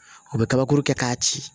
U bɛ kabakuru kɛ k'a ci